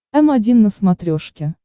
м один на смотрешке